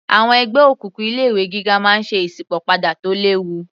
Àwọn ẹgbẹ́ òkùnkùn ilé ìwé gíga máa ń ṣe ìsípò padà tó léwu